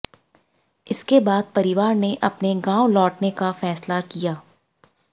इसके बाद परिवार ने अपने गांव लौटने का फैसला किया